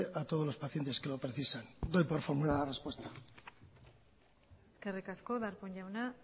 a todos los pacientes que lo precisan doy por formulada la respuesta eskerrik asko darpón jauna